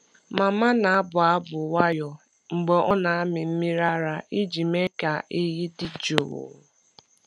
Mama na-abụ abụ nwayọọ mgbe ọ na-amị mmiri ara iji mee ka ehi dị jụụ.